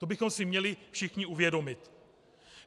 To bychom si měli všichni uvědomit.